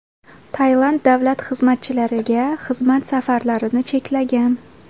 Tailand davlat xizmatchilariga xizmat safarlarini cheklagan .